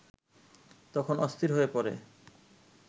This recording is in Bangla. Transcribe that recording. তখন অস্থির হয়ে পড়ে